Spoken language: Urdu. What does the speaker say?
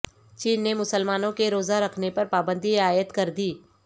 چین نے مسلمانوں کے روزہ رکھنے پر پابندی عائد کردی